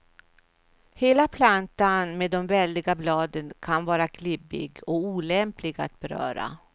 Hela plantan med de väldiga bladen kan vara klibbig och olämplig att beröra.